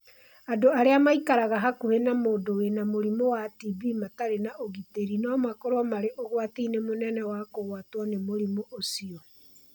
Andũ arĩa maikaraga hakuhĩ na mũndũ wĩna mũrimũ wa TB matarĩ na ũgitĩri no makorũo marĩ ũgwati-inĩ mũnene wa kũgwatwo nĩ mũrimũ ũcio.